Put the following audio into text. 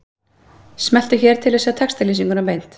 Smelltu hér til að sjá textalýsinguna beint